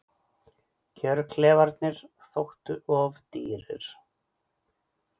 Kjörklefarnir þóttu of dýrir